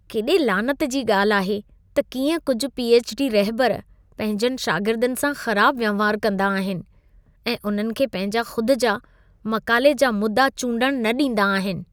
केॾे लानत जी ॻाल्ह आहे त कीअं कुझि पी.एछ.डी. रहिबर पंहिंजनि शागिर्दनि सां ख़राब वहिंवार कंदा अहिनि ऐं उन्हनि खे पंहिंजा ख़ुद जा मक़ाले जा मुदआ चूंडण न ॾींदा आहिनि।